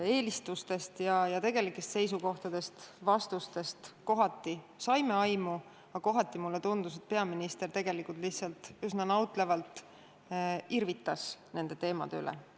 Eelistustest ja tegelikest seisukohtadest me vastuste kaudu saime aimu, aga kohati mulle tundus, et peaminister tegelikult lihtsalt üsna nautlevalt irvitas nende teemade üle.